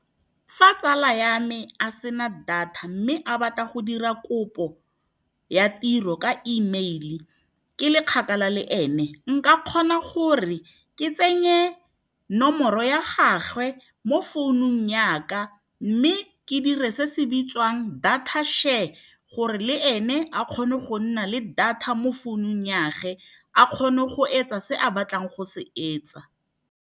Fa tsala ya me a se na data mme a batla go dira kopo ya tiro ka email-e, ke le kgakala le ene, nka kgona gore ke tsenye nomoro ya gagwe mo founung yaka mme ke dire se se bitswang data share, gore le ene a kgone go nna le data mo founung ya gage, a kgone go etsa se a batlang go se etsa.